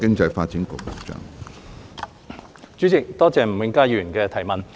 主席，多謝吳永嘉議員的質詢。